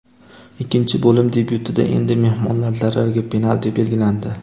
Ikkinchi bo‘lim debyutida endi mehmonlar zarariga penalti belgilandi.